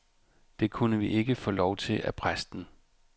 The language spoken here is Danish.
Det kunne vi ikke få lov til af præsten.